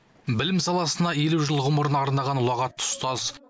білім саласына елу жыл ғұмырын арнаған ұлағатты ұстаз